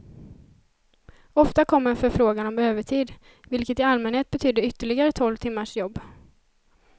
Ofta kom en förfrågan om övertid, vilket i allmänhet betydde ytterligare tolv timmars jobb.